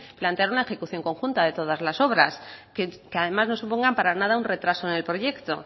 plantear una ejecución conjunta de todas las obras que además no supongan para nada un retraso en el proyecto